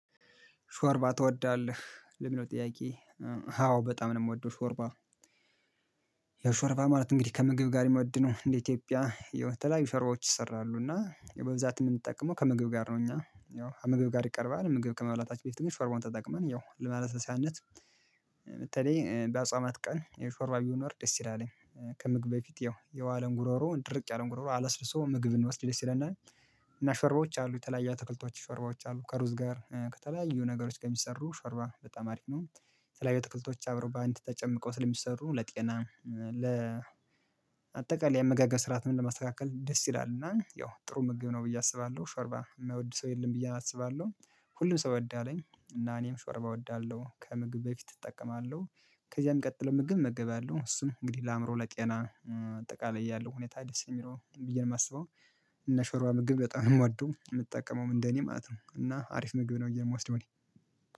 ሾርባ ትወዳለህ ለሚለው ጥያቄ? አዎ በጣም ነው የምወደው ሾርባ። ያው ሾርባ ማለት እንግዲህ ከምግብ ጋር የሚወድ ነው እንደ ኢትዮጵያ ያው የተለያዩ ሾርባዎች ይሰራሉ እና በብዛት የምንጠቀመው ከምግብ ጋር ነው እኛ ያው ምግብ ጋር ይቀርባል ምግብ ከመብላታች በፊት ግን ስለሆነ ተጠቅመን ያው ለማለት ለማለስለሻነት በተለይ እ በአጽዋማት ቀን የሾርባ ቢኖር ደስ ይላለኝ። ከምግብ በፊት ያው የዋለን ጉሮሮ ድርቅ ያለን ጉሮሮ አለስልሶ ምግብ ብንወስድ ደስ ይለናል። እና ሸርባዎች አሉ የተለያየ አትክልቶች ሸርባዎች አሉ ከሩዝ ጋር እ ከተለያዩ ነገሮች ከሚሰሩ ሸርባ በጣም አሪፍ ነው። የተለያዩ አትክልቶች አብረው በአንተ ተጨምቀው ስለሚሰሩ ለጤና ለ አጠቃላይ የአመጋገብ ስርዓትን ለማስተካከል ደስ ይላል። እና ያው ጥሩ ምግብ ነው ብዬ አስባለሁ ሾርባ የማይወድ ሰው የለም ብዬ አስባለሁ። ሁሉም ሰው ይወዳለኝ እና እኔም ሾርባ እወዳለሁ ከምግብ በፊት እጠቀማለሁ። ከዚያም ቀጥሎ ምግብ እመገባለሁ እሱን እንግዲህ ለአእምሮ ለጤና እም አጠቃላይ ያለው ሁኔታ ደስ የሚለው ብዬ ነው የማስበው። እና ሾርዋ ምግብ በጣም ነው የምወደው የምጠቀመው እንደኔ ማለት ነው እና አሪፍ ምግብ ነው ብዬ ነው ምወስደው ነኝ።